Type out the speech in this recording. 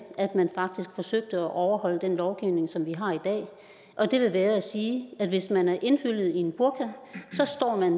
at man faktisk forsøgte at overholde den lovgivning som vi har i dag og det vil være at sige at hvis man er indhyllet i en burka så står man